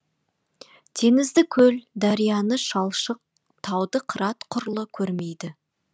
теңізді көл дарияны шалшық тауды қырат құрлы көрмейді